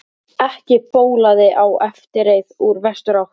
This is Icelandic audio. Ekki bólaði á eftirreið úr vesturátt.